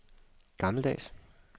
gammeldags